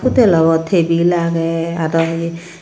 hutel obw tebil agey aro yeh.